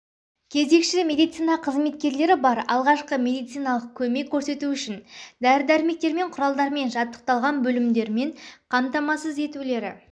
кезекші медицина қызметкерлері бар алғашқы медициналық көмек көрсету үшін дәр-дәрімектерімен құралдармен жабдықталған бөлімдермен қамтамасыз етулері